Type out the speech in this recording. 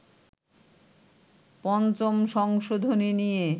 ৫ম সংশোধনী নিয়ে